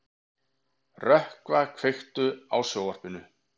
Rökkva, kveiktu á sjónvarpinu.